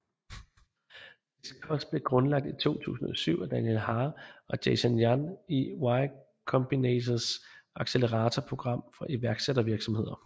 Disqus blev grundlagt i 2007 af Daniel Ha og Jason Yan i Y Combinators acceleratorprogram for iværksættervirksomheder